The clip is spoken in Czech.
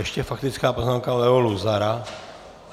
Ještě faktická poznámka Leo Luzara.